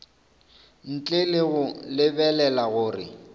ntle le go lebelela gore